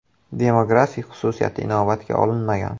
Demografik xususiyati inobatga olinmagan.